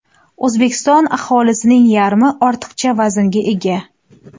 O‘zbekiston aholisining yarmi ortiqcha vaznga ega.